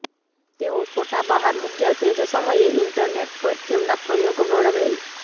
તેઓ ફોટા બહાર મૂક્યા તે જ સમયે ઇન્ટરનેટ પર તેમના પ્રયોગ વર્ણવેલ